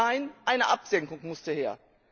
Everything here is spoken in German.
Nein, eine Absenkung musste her!